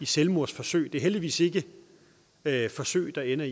selvmordsforsøg der heldigvis ikke er forsøg der ender